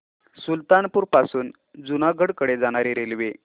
सुल्तानपुर पासून जुनागढ कडे जाणारी रेल्वे